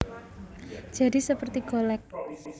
Jadi seperti golek